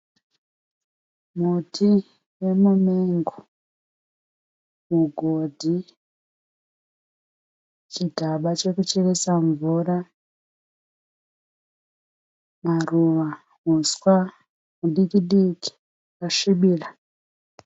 Muti wemumengo, mugodhi, chigaba chekucheresa mvura, maruva, huswa hudiki-diki hwakasvibira.